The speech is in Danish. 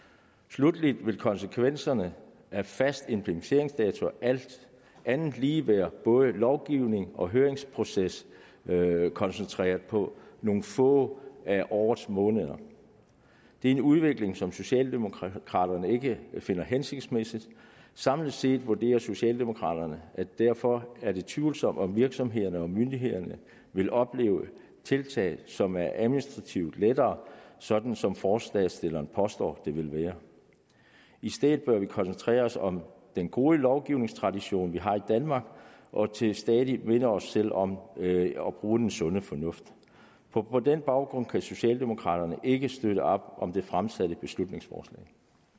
sluttelig vil konsekvenserne af faste implementeringsdatoer alt andet lige være at både lovgivnings og høringsprocessen vil være koncentreret på nogle få af årets måneder det er en udvikling som socialdemokraterne ikke finder hensigtsmæssig samlet set vurderer socialdemokraterne at det derfor er tvivlsomt at virksomhederne og myndighederne vil opleve tiltaget som administrativt lettere sådan som forslagsstilleren påstår det vil være i stedet bør vi koncentrere os om den gode lovgivningstradition vi har i danmark og til stadighed minde os selv om at bruge den sunde fornuft på på den baggrund kan socialdemokraterne ikke støtte op om det fremsatte beslutningsforslag